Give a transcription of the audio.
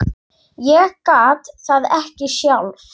Ég gat það ekki sjálf.